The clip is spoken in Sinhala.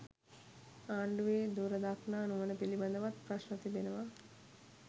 ආණ්ඩුවේ දුරදක්නා නුවණ පිළිබඳවත් ප්‍රශ්න තිබෙනවා